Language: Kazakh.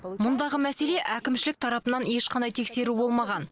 мұндағы мәселе әкімшілік тарапынан ешқандай тексеру болмаған